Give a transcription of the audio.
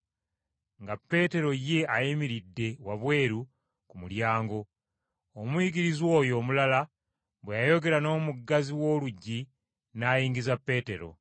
nga Peetero ye ayimiridde wabweru ku mulyango; omuyigirizwa oyo omulala bwe yayogera n’omuggazi w’oluggi n’ayingiza Peetero.